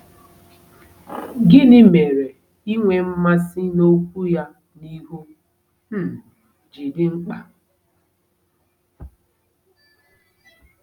Gịnị mere inwe mmasị n'Okwu ya n'ihu um ji dị mkpa?